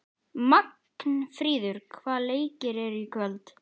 Magnfríður, hvaða leikir eru í kvöld?